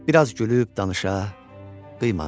Bir az gülüb danışa, qıymadı.